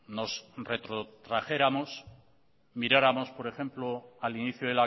nos retrotrajéramos miráramos por ejemplo al inicio